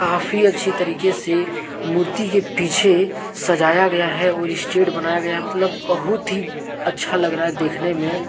काफी अच्छी तरीके से मूर्ति के पीछे सजाया गया है और स्टेज बनाया गया मतलब बहुत ही अच्छा लग रहा है देखने में।